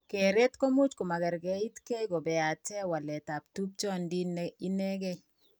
Keret ko much ko magergeit gee kobeate waletab tupchondit ne inegee.